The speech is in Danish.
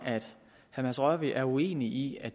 at herre mads rørvig er uenig i at